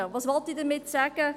Was will ich damit sagen?